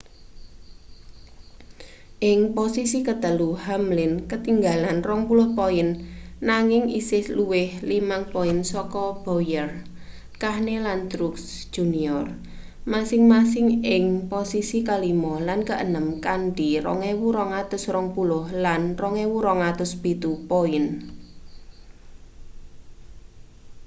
ing posisi ketelu hamlin ketinggalan 20 poin nanging isih luwih 5 poin saka bowyer kahne lan truex jr masing-masing ing posisi kelima lan keenem kanthi 2.220 lan 2.207 poin